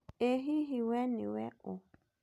Ĩ hihi we nĩwe ũ?